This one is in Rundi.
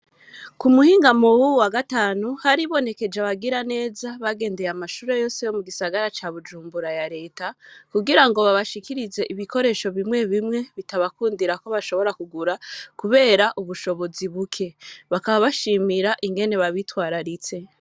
K,umuhingamo wuwu wa gatanu haribonetse abagiraneza bagendeye amashure yose yo mu gisagara ca Bujumbura ya Leta, kugirango babashikirize ibikoresho bimwe bimwe bitabakundira ko bashobora kugura kubera ubushobozi buke, bakaba bashimira ingene babitwararitse.